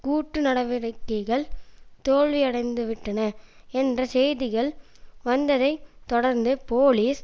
கூட்டு நடவடிக்கைகள் தோல்வியடைந்துவிட்டன என்ற செய்திகள் வந்ததைத் தொடர்ந்து போலீஸ்